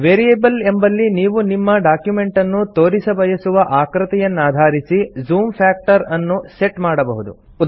variable ಎಂಬಲ್ಲಿ ನೀವು ನಿಮ್ಮ ಡಾಕ್ಯುಮೆಂಟನ್ನು ತೋರಿಸಬಯಸುವ ಆಕೃತಿಯನ್ನಧಾರಿಸಿ ಜೂಮ್ ಫ್ಯಾಕ್ಟರ್ ಅನ್ನು ಸೆಟ್ ಮಾಡಬಹುದು